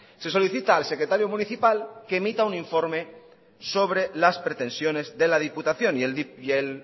se solicita al secretario municipal que emita un informe sobre las pretensiones de la diputación y el